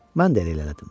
Mən də inlədim.